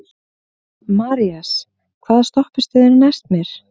Marías, hvaða stoppistöð er næst mér?